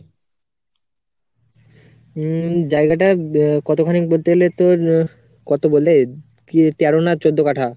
হম জায়গাটা কতখানি বলতে গেলে তোর কত বলে, কি তেরো না চৌদ্দ কাঠা.